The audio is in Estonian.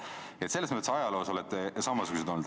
Nii et selles mõttes olete ajaloos samasugused olnud.